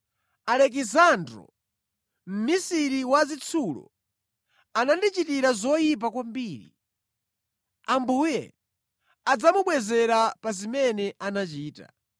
Alekisandro, mmisiri wa zitsulo anandichitira zoyipa kwambiri. Ambuye adzamubwezera pa zimene anachita.